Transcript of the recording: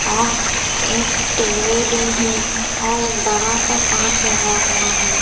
और एक टी_वी भी है और एक बड़ा सा काँच लगा हुआ है।